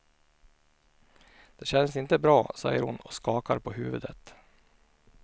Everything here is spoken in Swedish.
Det känns inte bra, säger hon och skakar på huvudet.